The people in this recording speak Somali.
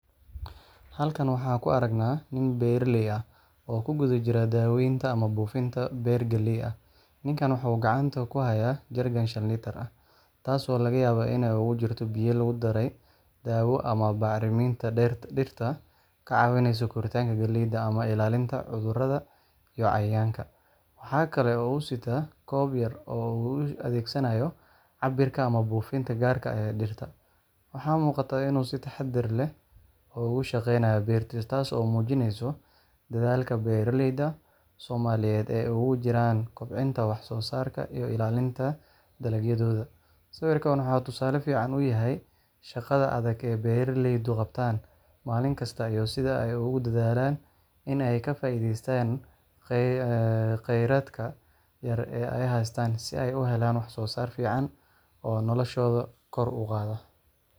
Halkan waxaan ku aragnaa nin beeraley ah oo ku guda jira daawaynta ama buufinta beer galley ah. Ninkan waxa uu gacanta ku hayaa jeerikan shan litir ah, taas oo laga yaabo inuu ku jiro biyo lagu daray dawo ama bacriminta dhirta ka caawinaysa koritaanka galleyda ama ilaalinta cudurrada iyo cayayaanka. Waxa kale oo uu sitaa koob yar oo uu u adeegsanayo cabbirka ama buufinta gaarka ah ee dhirta. Waxaa muuqata inuu si taxaddar leh uga shaqaynayo beertiisa, taas oo muujinaysa dadaalka beeraleyda Soomaaliyeed ay ugu jiraan kobcinta wax-soosaarka iyo ilaalinta dalagyadooda. Sawirkan waxa uu tusaale fiican u yahay shaqada adag ee beeraleydu qabtaan maalin kasta, iyo sida ay ugu dadaalaan in ay ka faa’iidaystaan kheyraadka yar ee ay haystaan si ay u helaan wax soosaar fiican oo noloshooda kor u qaada.